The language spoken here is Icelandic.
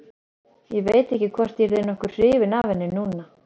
Ég veit ekki hvort ég yrði nokkuð hrifinn af henni núna.